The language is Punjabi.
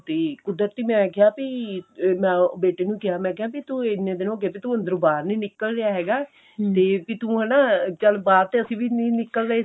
ਤੇ ਕੁਦਤਰੀ ਮੈਂ ਕਿਹਾ ਬੀ ਮੈਂ ਉਹ ਬੇਟੇ ਨੂੰ ਕਿਹ ਮੈਂ ਕਿਹਾ ਬੀ ਤੂੰ ਇੰਨੇ ਦਿਨ ਹੋ ਗੇ ਅੱਜ ਤੂੰ ਅੰਦਰੋਂ ਬਾਹਰ ਨਹੀਂ ਨਿਕਲ ਰਿਹਾ ਹੈਗਾ ਤੇ ਬੀ ਤੂੰ ਹਨਾ ਬਾਹਰ ਤੇ ਚੱਲ ਅਸੀਂ ਵੀ ਨਹੀਂ ਨਿਕਲ ਰਹੇ ਸੀਗੇ